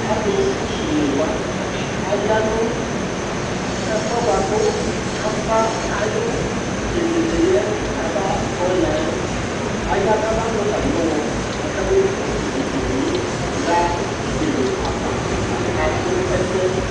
Alʋsɛune wa aya nʋ ɛfʋ yɛ bʋa kʋ ava ayʋ vegele yɛ abatɔ ya yɛ Aya kabanʋ atamɩ ɔɣɔ kabemu utuvegele yɛ ɣa uti bene ava ɣasʋ ɛsɛ